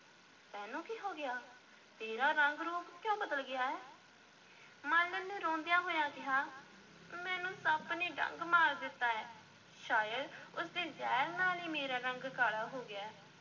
ਤੈਨੂੰ ਕੀ ਹੋ ਗਿਆ? ਤੇਰਾ ਰੰਗ-ਰੂਪ ਕਿਉਂ ਬਦਲ ਗਿਆ ਹੈ ਮਾਲਣ ਨੇ ਰੋਂਦਿਆਂ ਹੋਇਆਂ ਕਿਹਾ, ਮੈਨੂੰ ਸੱਪ ਨੇ ਡੰਗ ਮਾਰ ਦਿੱਤਾ ਹੈ, ਸ਼ਾਇਦ ਉਸ ਦੇ ਜ਼ਹਿਰ ਨਾਲ ਹੀ ਮੇਰਾ ਰੰਗ ਕਾਲਾ ਹੋ ਗਿਆ।